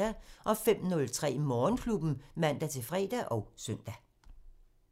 05:03: Morgenklubben (man-fre og søn)